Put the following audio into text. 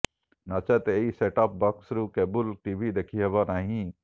ନଚେତ ଏହି set top box ରୁ କେବୁଲ ଟିଭି ଦେଖି ହେବନାହିଁ